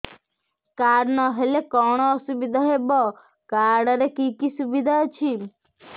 card ନହେଲେ କଣ ଅସୁବିଧା ହେବ କାର୍ଡ ରେ କି କି ସୁବିଧା ଅଛି